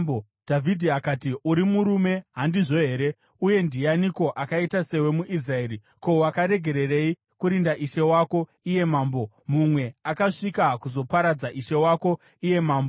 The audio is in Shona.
Dhavhidhi akati, “Uri murume, handizvo here? Uye ndianiko akaita sewe muIsraeri? Ko, wakaregererei kurinda ishe wako iye mambo? Mumwe akasvika kuzoparadza ishe wako iye mambo.